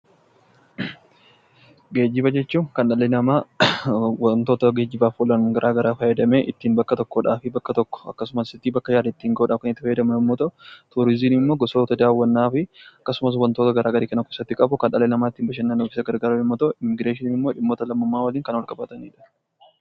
Geejjiba jechuun kan dhalli namaa geejjiba garaagaraa fayyadamee ittiin bakka tokkodha fi bakka tokko akkasumas bakka yaade ittiin gahuuf fayyadamu yommuu ta'u, turizimiin ammoo gosoota daawwannaa fi akkasumas wantoota garaagaraa kan of keessatti qabu kan dhalli namaa ittiin bashannanuuf gargaaramu yommuu ta'u, immiigireeshiniin immoo dhimmoota lammummaa waliin wal qabatanidha.